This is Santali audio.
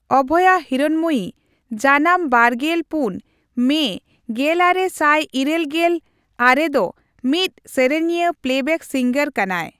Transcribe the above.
ᱚᱵᱷᱚᱭᱟ ᱦᱤᱨᱚᱬᱢᱚᱭᱤ ᱡᱟᱱᱟᱢ ᱵᱟᱨᱜᱮᱞ ᱯᱩᱱ ᱢᱮ ᱜᱮᱞᱟᱨᱮ ᱥᱟᱭ ᱤᱨᱟᱹᱞ ᱜᱮᱞ ᱟᱨᱮᱫᱚ ᱢᱤᱫ ᱥᱤᱧᱚᱛᱤᱭᱟᱹ ᱯᱞᱮᱵᱮᱠ ᱥᱤᱝᱜᱚᱨ ᱠᱟᱱᱟᱭ